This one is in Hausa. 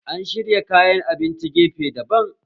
An shirya kayan abinci gefe daban